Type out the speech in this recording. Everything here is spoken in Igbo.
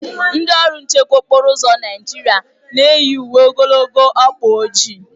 Ndị ọrụ nchekwa okporo ụzọ Naijiria na-eyi uwe ogologo ọkpa ojii.